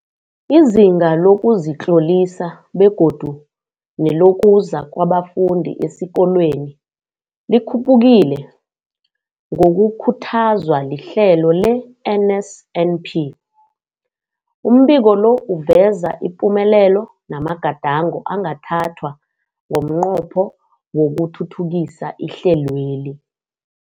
Izinga lokuzitlolisa begodu nelokuza kwabafundi esikolweni likhuphukile ngokukhuthazwa lihlelo le-NSNP. Umbiko lo uveza ipumelelo namagadango angathathwa ngomnqopho wokuthuthukisa ihlelweli.